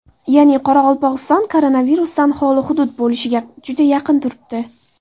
Ya’ni Qoraqalpog‘iston koronavirusdan xoli hudud bo‘lishga juda yaqin turibdi.